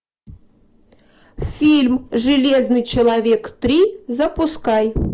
фильм железный человек три запускай